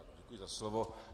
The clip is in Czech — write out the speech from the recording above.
Děkuji za slovo.